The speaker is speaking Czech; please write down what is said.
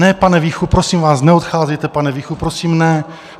Ne, pane Víchu, prosím vás, neodcházejte, pane Víchu, prosím, ne.